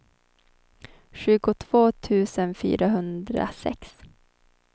tjugotvå tusen fyrahundrasex